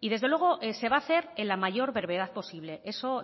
y desde luego se va a hacer en la mayor brevedad posible eso